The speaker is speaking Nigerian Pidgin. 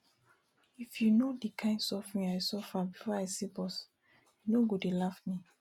if you no the kin suffering i suffer before i see bus you no go dey laugh me